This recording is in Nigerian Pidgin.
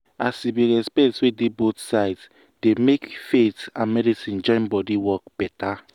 as e be respect wey dey both sides dey make faith and medicine join body work better.